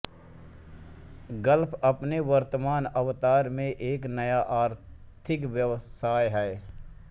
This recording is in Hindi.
गल्फ अपने वर्तमान अवतार में एक नया आर्थिक व्यवसाय है